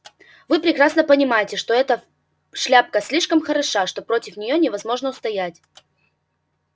вы прекрасно понимаете что эта шляпка слишком хороша что против неё невозможно устоять